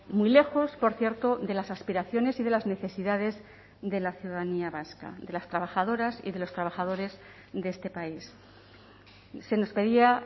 muy lejos por cierto de las aspiraciones y de las necesidades de la ciudadanía vasca de las trabajadoras y de los trabajadores de este país se nos pedía